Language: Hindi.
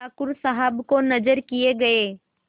ठाकुर साहब को नजर किये गये